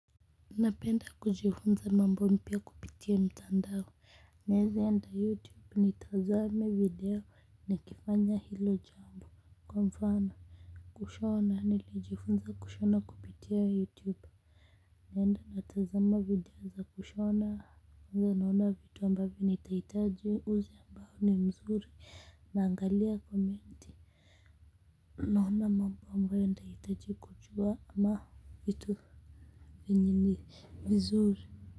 Napenda kujifunza mambo mpya kupitia mtandao. Naeze enda youtube nitazame video niki kifanya hilo jambo, kwa mfano kushona nilijifunza kushona kupitia youtube naenda natazama video za kushona naona vitu ambavyo nitahitaji uzi ambayo ni mzuri naangalia komenti naona mambo ambayo nitahitaji kujua ama vitu vyenye ni vizuri.